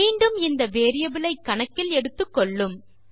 மீண்டும் இந்த வேரியபிள் ஐ கணக்கில் எடுத்துக்கொள்ளும்